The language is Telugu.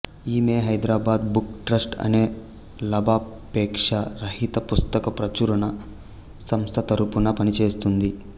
ఈమె హైదరాబాద్ బుక్ ట్రస్ట్ అనే లాభాపేక్ష రహిత పుస్తక ప్రచురణ సంస్థ తరఫున పనిచేస్తున్నది